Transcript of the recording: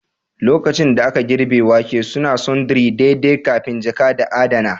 lokacin da aka girbe wake, suna sundry daidai kafin jaka da adana